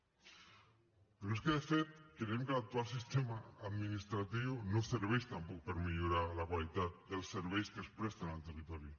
però és que de fet creiem que l’actual sistema administratiu no serveix tampoc per millorar la qualitat dels serveis que es presten al territori